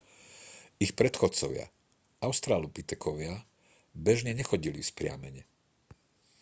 ich predchodcovia australopitekovia bežne nechodili vzpriamene